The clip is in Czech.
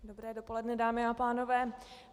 Dobré dopoledne, dámy a pánové.